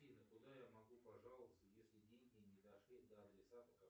афина куда я могу пожаловаться если деньги не дошли до адресата